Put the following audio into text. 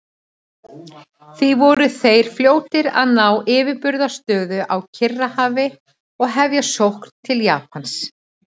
Því voru þeir fljótir að ná yfirburðastöðu á Kyrrahafi og hefja sókn til Japans.